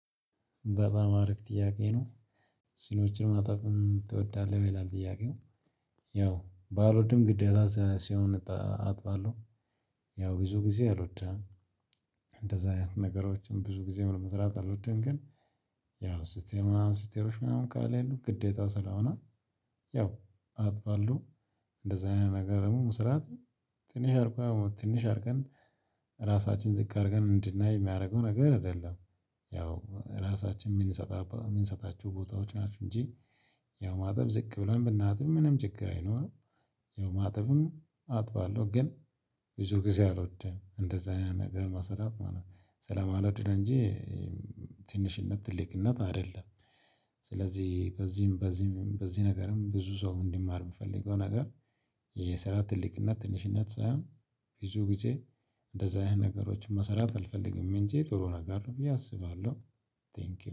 በጣም አሪፍ ጥያቄ ነው ሲኖችን መጠቀም ትወዳለህ ይላል ጥያቄው? ያው ባልወድም ግዴታ ሲሆን አጥባለሁ። ያው ብዙ ጊዜ አልወድም። እንደዛ አይነት ነገሮችን ብዙ ጊዜ መስራት አልወድም ግን። ያው ስትሄድ ምናምን ሲስተሮች ምናምን ካለሉ ግዴታ ስለሆነ ያው አጥባለሁ። እንደዛ አይነት ነገር ደግሞ መስራት ትንሽ አድርጎ ትንሽ አድርገን እራሳችን ዝቅ አድርገን እንድናይ የሚያደርገው ነገር አይደለም። ያው እራሳችን የምንሰጣቸው ቦታዎች ናቸው እንጂ። ያው ማጠብ ዝቅ ብለን ብናጥብ ምንም ችግር አይኖርም። ያው ማጠቡን አጥባለሁ ግን ብዙ ጊዜ አልወድም እንደዛ አይነት ነገር መስራት ማለት ነው ስለማልወድ ነው እንጂ። ትንሽነት ትልቅነት አይደለም። ስለዚህ በዚህም በዚህም በዚህ ነገርም ብዙ ሰው እንዲማር የምፈልገው ነገር። የስራ ትልቅነት ትንሽነት ሳይሆን ብዙ ጊዜ እንደዛ አይነት ነገሮችን መስራት አልፈልግም እንጂ ጥሩ ነገር ነው ብዬ አስባለሁ። ተንኪው